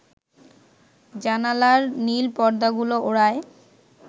জানালার নীল পর্দাগুলো ওড়ায়